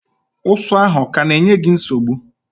Ụsụ ahụ ọ ka na-enye gị nsogbu?